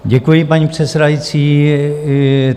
Děkuji, paní předsedající.